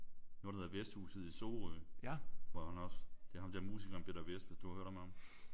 Noget der hedder Vesthhuset i Sorø hvor han også det er ham der musikeren Peter Vesth hvis du har hørt om ham?